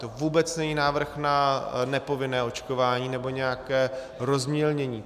To vůbec není návrh na nepovinné očkování nebo nějaké rozmělnění.